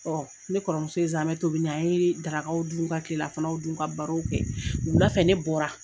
ne kɔrɔmuso ye zamɛ tobi ne an yee darakaw dun, ka tilelafanaw dun, ka barow kɛ. Wula fɛ ne bɔra